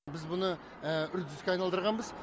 біз мұны үрдіске айналдырғанбыз